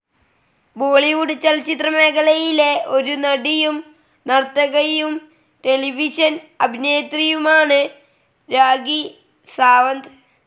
ബോളിവുഡ് ചലച്ചിത്ര മേഖലയിലെ ഒരു നടിയും, നർത്തകിയും, ടെലിവിഷൻ അഭിനേത്രിയുമാണ് രാഖി സാവന്ത്.